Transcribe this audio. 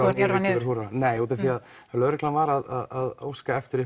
að njörva niður nei lögreglan var að óska eftir